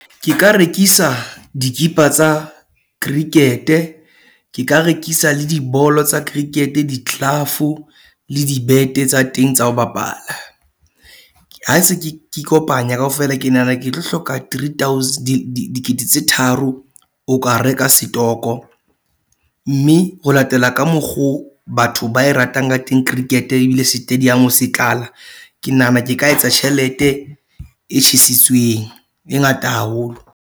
Ke ka rekisa dikipa tsa cricket-e. Ke ka rekisa le dibolo tsa cricket-e, di-glove-u, le di bete tsa teng tsa ho bapala. Ha se ke ikopanya kaofela, ke nahana ke tlo hloka three thousand, dikete tse tharo ho ka reka setoko. Mme ho latela ka mokgo batho ba e ratang ka teng cricket-e ebile setadiamo se tlala. Ke nahana ke ka etsa tjhelete e tjhesitsetsweng, e ngata haholo.